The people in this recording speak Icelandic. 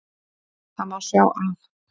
Það má sjá af